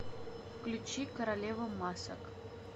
включи королева масок